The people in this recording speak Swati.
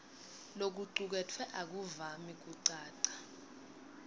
lokucuketfwe akuvami kucaca